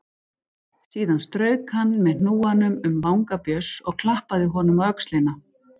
Síðan strauk hann með hnúanum um vanga Björns og klappaði honum á öxlina.